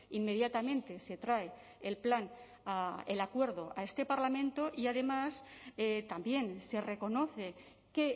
inmediatamente se trae el plan el acuerdo a este parlamento y además también se reconoce que